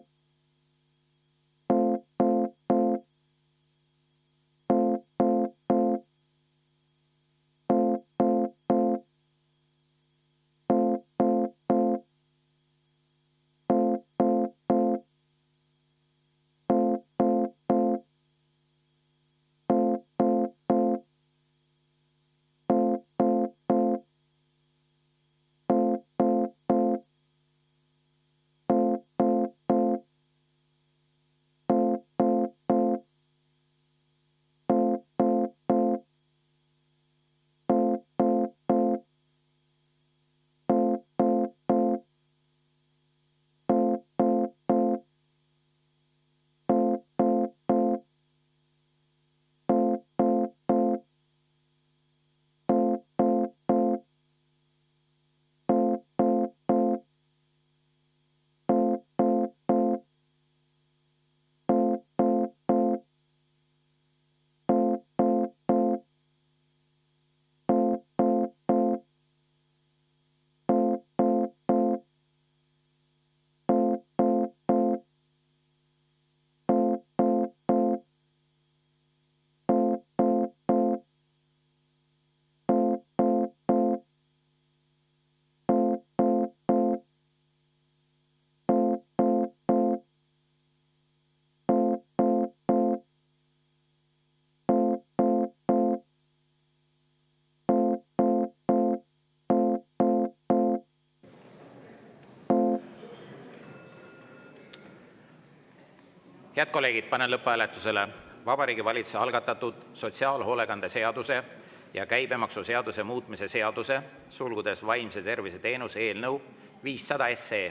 Head kolleegid, panen lõpphääletusele Vabariigi Valitsuse algatatud sotsiaalhoolekande seaduse ja käibemaksuseaduse muutmise seaduse eelnõu 500.